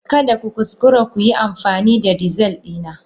Kada ku kuskura ku yi amfani da dizal dina!